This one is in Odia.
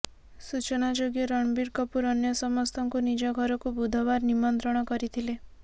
ସୂଚନାଯୋଗ୍ୟ ରଣବୀର କପୁର ଅନ୍ୟ ସମସ୍ତଙ୍କୁ ନିଜ ଘରକୁ ବୁଧବାର ନିମନ୍ତ୍ରଣ କରିଥିଲେ